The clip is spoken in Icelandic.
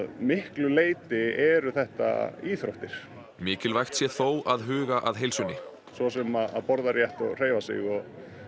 miklu leyti eru þetta íþróttir mikilvægt sé þó að huga að heilsunni svo sem að borða rétt og hreyfa sig og